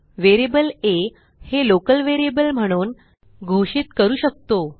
variable आ हे local variable म्हणून घोषित करू शकतो